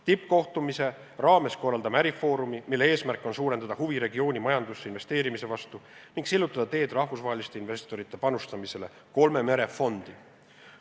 Tippkohtumise raames korraldame ärifoorumi, mille eesmärk on suurendada huvi regiooni majandusse investeerimise vastu ning sillutada teed rahvusvaheliste investorite panustamisele kolme mere fondi.